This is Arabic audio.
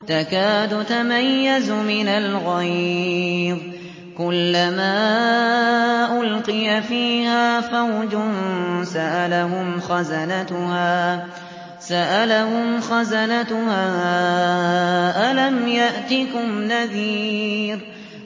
تَكَادُ تَمَيَّزُ مِنَ الْغَيْظِ ۖ كُلَّمَا أُلْقِيَ فِيهَا فَوْجٌ سَأَلَهُمْ خَزَنَتُهَا أَلَمْ يَأْتِكُمْ نَذِيرٌ